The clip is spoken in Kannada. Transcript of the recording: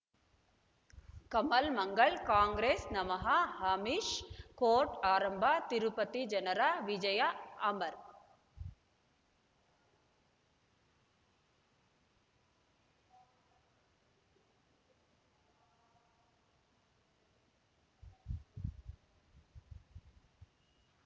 ಕಮಲ್ ಮಂಗಳ್ ಕಾಂಗ್ರೆಸ್ ನಮಃ ಅಮಿಷ್ ಕೋರ್ಟ್ ಆರಂಭ ತಿರುಪತಿ ಜನರ ವಿಜಯ ಅಮರ್